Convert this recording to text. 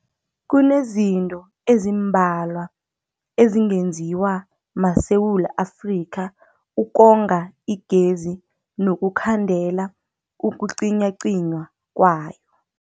Kunezinto ezimbalwa ezingenziwa maSewula Afrika ukonga igezi nokukhandela ukucinywacinywa kwayo.